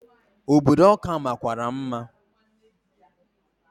Obodo Ọka makwara mma.